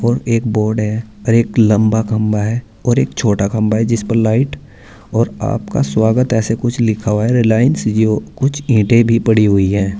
और एक बोर्ड है और एक लंबा खंबा है और एक छोटा खंबा है जिस पर लाइट और आपका स्वागत ऐसे कुछ लिखा हुआ है रिलायंस जिओ। कुछ ईंटे भी पड़ी हुई हैं।